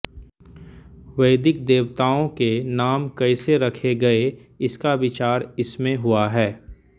वैदिक देवताओं के नाम कैसे रखे गये इसका विचार इसमें हुआ है